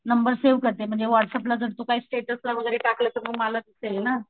Number save करते म्हणजे WhatsApp ला जर तू काही स्टेटसला वैगेरे टाकलं तर मग मला दिसेल ना.